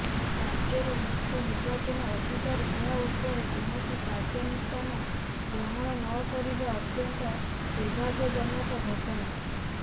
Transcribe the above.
ା ରାଜ୍ୟର ମୁଖ୍ୟ ନିର୍ବାଚନ ଅଧିକାରି ଏହା ଉପରେ କୌଣସି କାର୍ଯ୍ୟାନୁଷ୍ଠାନ ଗ୍ରହଣ ନକରିବା ଅତ୍ୟନ୍ତ ର୍ଦୁଭାଗ୍ୟଜନକ ଘଟଣା